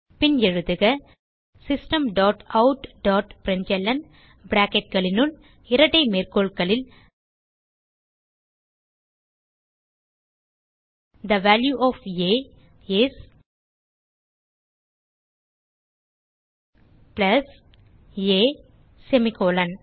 பின் எழுதுக system dot out dot println bracketகளுனுள் இரட்டை மேற்கோள்களில் the value of a is plus a semicolon